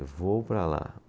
Eu vou para lá.